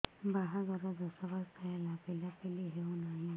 ବାହାଘର ଦଶ ବର୍ଷ ହେଲା ପିଲାପିଲି ହଉନାହି